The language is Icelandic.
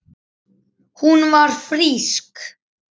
Hún var frísk.